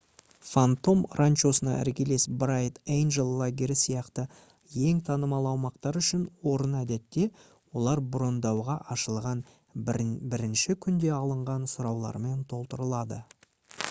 фантом ранчосына іргелес брайт эйнджел лагері сияқты ең танымал аумақтар үшін орын әдетте олар брондауға ашылған бірінші күнде алынған сұраулармен толтырылады